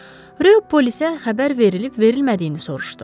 Ryo polisə xəbər verilib-verilmədiyini soruşdu.